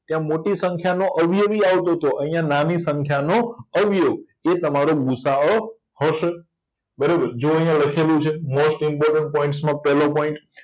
ત્યાં મોટી સંખ્યાનો અવયવી આવતોતો આયા નાની સંખ્યાનો અવયવ એ તમારો ગુસાઅ હશે બરાબર જો આયા લખેલું છે મોસ્ટ ઈમ્પોટન્ટ પોઇટમાં પેલો પોઈન્ટ